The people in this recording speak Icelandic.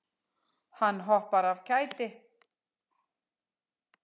Hann hoppar af kæti.